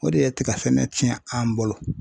O de ye tiga sɛnɛ tiɲɛ an bolo.